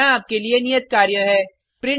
यहाँ आपके लिए नियत कार्य है